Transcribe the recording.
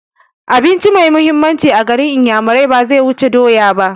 Abinci mai mahimmanci a garin inyamurai baze wuce doya ba